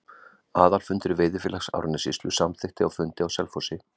Aðalfundur Veiðifélags Árnessýslu samþykkti á fundi á Selfossi